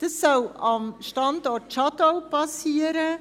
Dies soll am Standort Schadau geschehen;